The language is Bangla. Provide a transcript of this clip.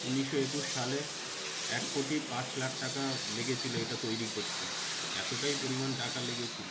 উনিশশো একুশ সালে এক কোটি পাঁচ লাখ টাকা লেগেছিলো এটা তৈরী করতে। এতটাই পরিমান টাকা লেগেছিল।